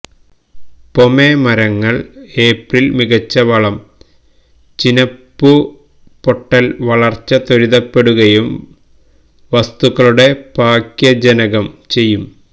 പൊമെ മരങ്ങൾ ഏപ്രിൽ മികച്ച വളം ചിനപ്പുപൊട്ടൽ വളർച്ച ത്വരിതപ്പെടുകയും വസ്തുക്കളുടെ പാക്യജനകം ചെയ്യും